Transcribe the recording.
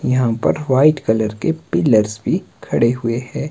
यहां पर white colour के पिलर्स भी खड़े हुए हैं।